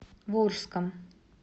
волжском